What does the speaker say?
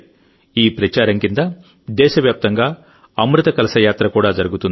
ఈ ప్రచారం కింద దేశవ్యాప్తంగా అమృత కలశ యాత్ర కూడా జరుగుతుంది